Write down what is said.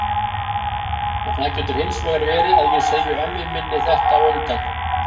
En það getur hins vegar verið að ég segi ömmu minni þetta á undan.